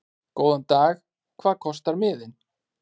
Góðan dag. Hvað kostar miðinn?